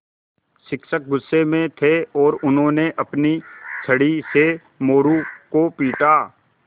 शिक्षक गुस्से में थे और उन्होंने अपनी छड़ी से मोरू को पीटा